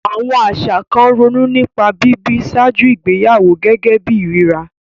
Àwọn àṣà kan ronú nípa bíbí ṣáájú ìgbéyàwó gẹ́gẹ́ bí ìríra.